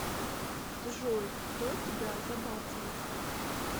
джой кто тебя забацал